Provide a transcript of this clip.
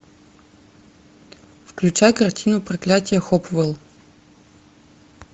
включай картину проклятие хопвелл